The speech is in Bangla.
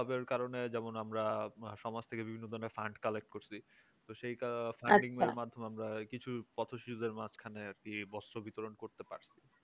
সবের কারণে যেমন আমরা সমাজ থেকে বিভিন্ন ধরণের fund collect করছি। তো সেই funding এর মাধ্যমে আমরা কিছু পথশ্রীদের মাঝখানে আর কি বস্ত্র বিতরণ করতে পারছি।